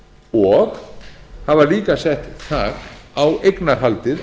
og það var líka sett þak á eignarhaldið